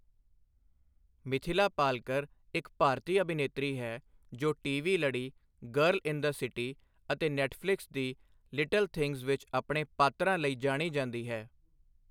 ਮਿਥਿਲਾ ਪਾਲਕਰ ਇੱਕ ਭਾਰਤੀ ਅਭਿਨੇਤਰੀ ਹੈ ਜੋ ਟੀ.ਵੀ. ਲੜੀ ਗਰਲ ਇਨ ਦ ਸਿਟੀ ਅਤੇ ਨੈੱਟਫਲਿਕਸ ਦੀ ਲਿਟਲ ਥਿੰਗਸ ਵਿੱਚ ਆਪਣੇ ਪਾਤਰਾਂ ਲਈ ਜਾਣੀ ਜਾਂਦੀ ਹੈ।